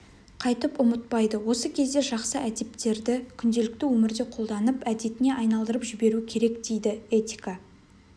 қайтып ұмытпайды осы кезде жақсы әдептерді күнделікті өмірде қолданып әдетіне айналдырып жіберу керек дейді этика